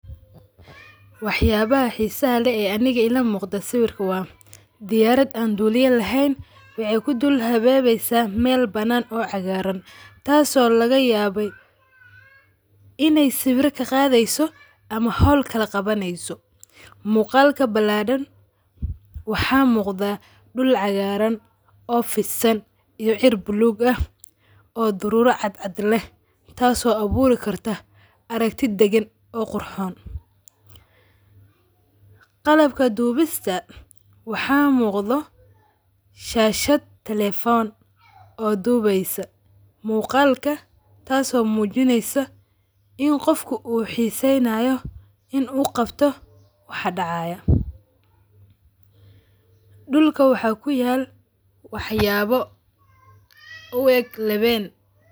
Waxayabaha xiisaha laeeh aniga ila muqda sawirka waa diyaarda aan duliya leheen waxay kudul hawawesa meel banan oo cagaran taaso lagayabe inay sawira kaqadheeso ama holkal qawaneeso. Muqalka balaran waxa muqda duul cagaraan oo fidsan iyo ciir blue aah oo durura cadcad leeh taaso aburi karta arigti dagaan oo qurxoon. Qalbka duubista waxa muqdo shashaad telephone oo dubeysa muqalka taaso muu jineysa in qofka uu xisanayo in oo qabto waxa dacayo duulka waxa kuyaal waxyabo u eeg laween.